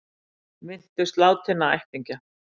Minntust látinna ættingja